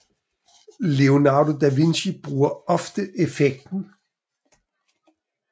Leonardo da Vinci bruger ofte effekten